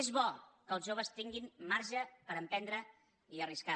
és bo que els joves tinguin marge per emprendre i arriscar